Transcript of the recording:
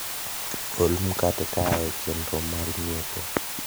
gol mkate kaae chendro mar nyiepo